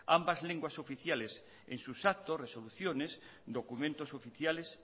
ambas lenguas oficiales en sus actos resoluciones documentos oficiales